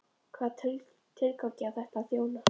Hvaða tilgangi á þetta að þjóna?